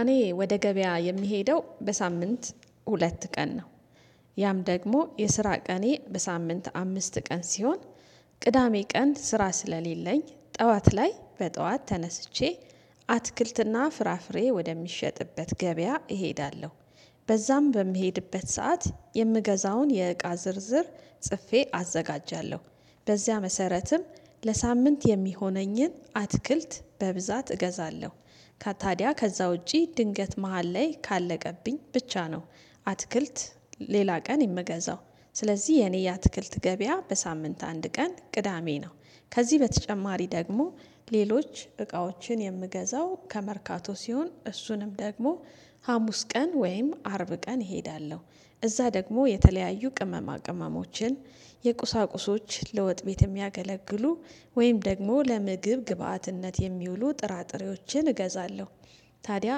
እኔ ወደ ገበያ የምሄደው በሳምንት ሁለት ቀን ነው። ያም ደግሞ የስራ ቀኔ በሳምንት አምስት ቀን ሲሆን ቅዳሜ ቀን ስራ ስለሌለኝ ጠዋት ላይ በጠዋት ተነስቼ አትክልትና ፍራፍሬ ወደሚሸጥበት ገበያ እሄዳለሁ። በዛም በምሄድበት ሰዓት የምገዛውን የእቃ ዝርዝር ጽፌ አዘጋጃለሁ በዚያ መሰረትም ለሳምንት የሚሆነኝን አትክልት በብዛት እገዛለሁ። ከታዲያ ከዛ ውጪ ድንገት መሃል ላይ ካለቀብኝ ብቻ ነው አትክልት ሌላ ቀን የምገዛው። ስለዚህ የኔ የአትክልት ገበያ በሳምንት አንድ ቀን ቅዳሜ ነው። ከዚህ በተጨማሪ ደግሞ ሌሎች እቃዎችን የምገዛው ከመርካቶ ሲሆን እሱንም ደግሞ ሀሙስ ቀን ወይም አርብ ቀን እሄዳለሁ። እዛ ደግሞ የተለያዩ ቅመማ ቅመሞችን የቁሳቁሶች ለወጥ ቤት የሚያገለግሉ ወይም ደግሞ ለምግብ ግብአትነት የሚውሉ ጥራጥሬዎችን እገዛለሁ። ታዲያ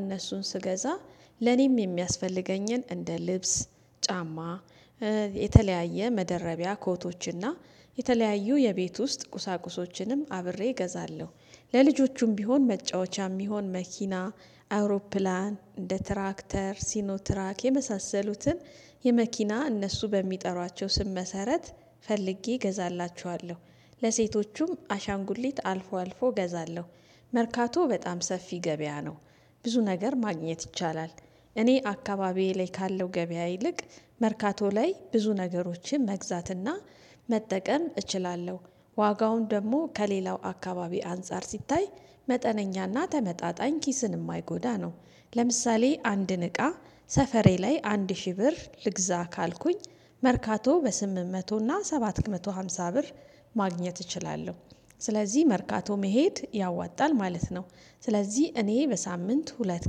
እነሱን ስገዛ ለኔም የሚያስፈልገኝን እንደ ልብስ ጫማ የተለያየ መደረቢያ ኮቶችና የተለያዩ የቤት ውስጥ ቁሳቁሶችንም አብሬ እገዛለሁ። ለልጆቹም ቢሆን መጫወቻም ቢሆን መኪና አውሮፕላን እንደ ትራክተር ሲኖትራክ የመሳሰሉትን የመኪና እነሱ በሚጠሯቸው ስም መሰረት ፈልጌ እገዛላችኋለሁ ለሴቶቹም አሻንጉሊት አልፎ አልፎ እገዛለሁ። መርካቶ በጣም ሰፊ ገበያ ነው። ብዙ ነገር ማግኘት ይቻላል። እኔ አካባቢዬ ላይ ካለው ገበያ ይልቅ መርካቶ ላይ ብዙ ነገሮችን መግዛትና መጠቀም እችላለሁ። ዋጋውን ደግሞ ከሌላው አካባቢ አንፃር ሲታይ መጠነኛና ተመጣጣኝ ኪስን ማይጎዳ ነው። ለምሳሌ አንድን እቃ ሰፈሬ ላይ አንድ ሺህ ብር ልግዛ ካልኩኝ መርካቶ በስምንት መቶ እና ሰባት መቶ ሃምሳ ብር ማግኘት እችላለሁ። ስለዚህ መርካቶ መሄድ ያዋጣል ማለት ነው። ስለዚህ እኔ በሳምንት ሁለት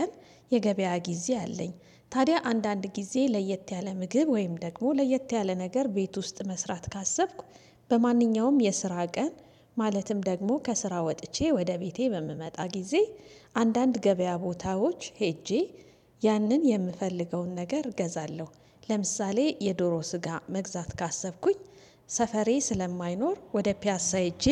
ቀን የገበያ ጊዜ አለኝ። ታዲያ አንዳንድ ጊዜ ለየት ያለ ምግብ ወይም ደግሞ ለየት ያለ ነገር ቤት ውስጥ መስራት ካሰብኩ በማንኛውም የስራ ቀን ማለትም ደግሞ ከስራ ወጥቼ ወደ ቤቴ በምመጣ ጊዜ አንዳንድ ገበያ ቦታዎች ሄጄ ያንን የምፈልገውን ነገር ገዛለሁ። ለምሳሌ የዶሮ ስጋ መግዛት ካሰብኩኝ ሰፈሬ ስለማይኖር ወደ ፒያሳ ሄጄ